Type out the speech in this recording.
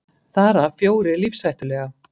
Þar af fjórir lífshættulega